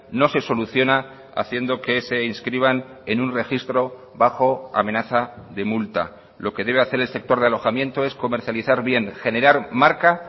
no se soluciona haciendo que se inscriban en un registro bajo amenaza de multa lo que debe hacer elsector de alojamiento es comercializar bien generar marca